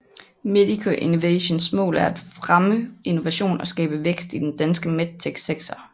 Medico Innovations mål er at fremme innovation og skabe vækst i den danske medtech sektor